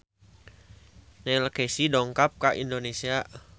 Neil Casey dongkap ka Indonesia